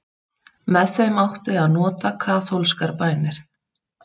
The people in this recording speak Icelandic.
Með þeim átti að nota kaþólskar bænir.